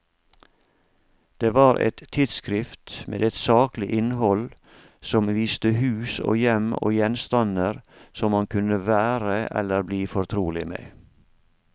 Det var et tidsskrift med et saklig innhold som viste hus og hjem og gjenstander som man kunne være eller bli fortrolig med.